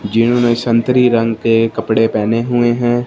जिन्होंने संतरी रंग के कपड़े पहने हुए हैं।